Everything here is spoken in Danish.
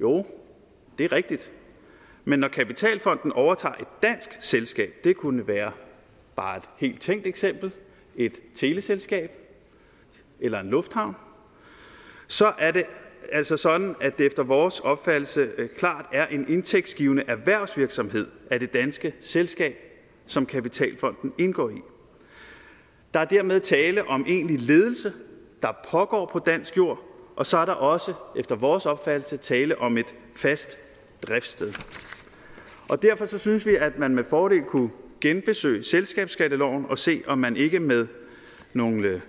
jo det er rigtigt men når kapitalfonden overtager et dansk selskab det kunne være bare et helt tænkt eksempel et teleselskab eller en lufthavn så er det altså sådan at det efter vores opfattelse klart er en indtægtsgivende erhvervsvirksomhed af det danske selskab som kapitalfonden indgår i der er dermed tale om egentlig ledelse der pågår på dansk jord og så er der også efter vores opfattelse tale om et fast driftssted og derfor synes vi at man med fordel kunne genbesøge selskabsskatteloven og se om man ikke med nogle